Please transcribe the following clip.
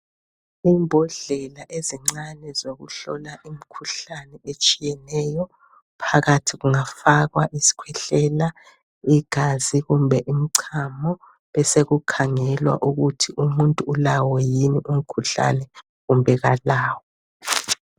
Imbodlela ezincane zokuhlola imikhuhlane etshiyeneyo phakathi kungafakwa isikhwehlela, igazi kumbe imchamo besekukhangelwa ukuthi umuntu ulawo yini umkhuhlane kumbe kalawo.